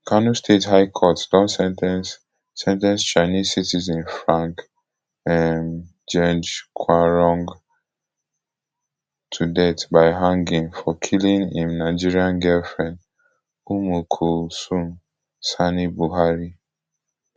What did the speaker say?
kano state high court don sen ten ce sen ten ce chinese citizen frank um geng quarong to death by hanging for killing im nigerian girlfriend ummulkhulsum sani buhari